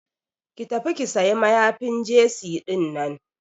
Ki tafi ki sayi mayafin jesi dinnan.